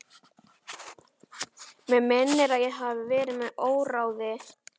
Mig minnir að ég hafi verið með óráði.